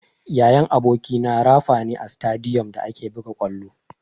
Yayan abokina rafa ne a sitadiyom da ake buga ƙwallo.